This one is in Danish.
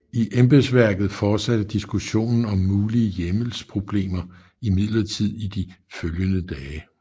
I embedsværket fortsatte diskussionen om mulige hjemmelsproblemer imidlertid i de følgende dage